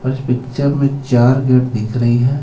इस पिक्चर मे चार गेट दिख रही हे.